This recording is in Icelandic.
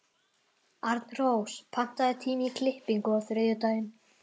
Arnrós, pantaðu tíma í klippingu á þriðjudaginn.